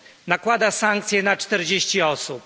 Nakłada sankcje na 40 osób.